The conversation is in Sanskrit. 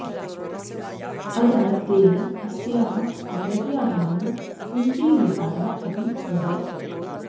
अतः तेन अस्याः नगर्याः नाम कुन्तीविहारः अपि अभवत्